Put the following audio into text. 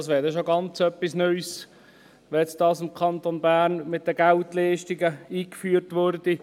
Es wäre dann schon etwas ganz Neues, wenn diese Geldleistungen im Kanton Bern eingeführt würden.